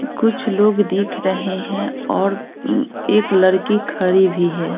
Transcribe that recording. कुछ लोग दिख रहे हैं और अ एक लड़की खड़ी भी है।